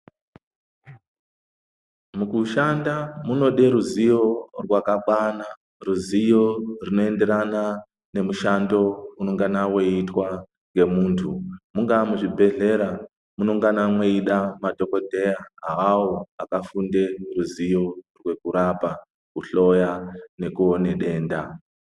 Mukushanda munode ruziyo rwakakwana ruziyo runoenderana nemushando unongana weitwa ngemuntu Mungaa Muzvibhedhlera munongana mweida madhokodhera awawo akafunde ruziyo rekurapa kuhloya nekuone denda.